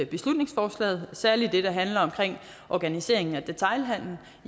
beslutningsforslaget særlig det der handler om organiseringen af detailhandelen